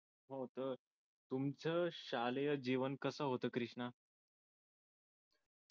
तुमच शालेय जीवन कस होत कृष्णा